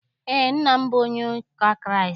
Eé, nna m bụ onye ụka Kraịst.